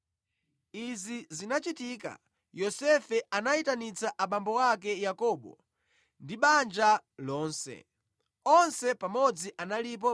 Izi zinachitika, Yosefe anayitanitsa abambo ake Yakobo ndi banja lonse, onse pamodzi analipo 75.